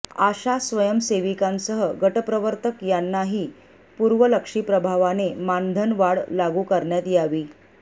आशा स्वयंसेविकांसह गटप्रवर्तक यांनाही पुर्वलक्षी प्रभावाने मानधनवाढ लागू करण्यात यावी